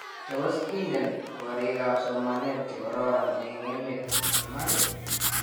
Tos ingen korik ap somanet chekororon eng emet Iman?